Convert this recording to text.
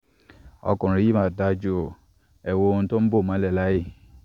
ọkunrin yii ma daju o, ẹwo ohun to bo mọlẹ laaye